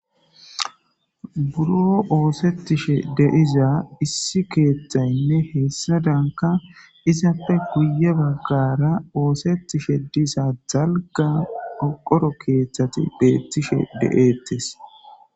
Buro oosetishe deiza issi keeththaynne heessa danka isapfe guye baggara oosettishe disa jalga oqoro keeththati beettishe de7eettes.